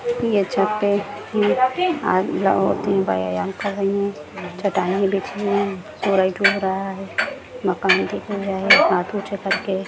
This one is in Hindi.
यह छत पर आदमी- औरतें व्यायाम कर रही है। चट्टाइयाँ बिछी हुई है मकान दिख रहा है